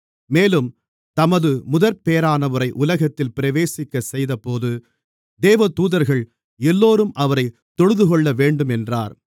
மேலும் தமது முதற்பேறானவரை உலகத்தில் பிரவேசிக்கச்செய்தபோது தேவதூதர்கள் எல்லோரும் அவரைத் தொழுதுகொள்ளவேண்டும் என்றார்